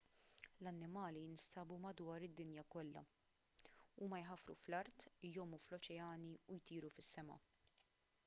l-annimali jinstabu madwar id-dinja kollha huma jħaffru fl-art jgħumu fl-oċeani u jtiru fis-sema